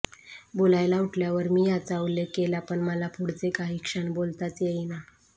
बोलायला उठल्यावर मी याचा उल्लेख केला पण मला पुढचे काही क्षण बोलताच येईना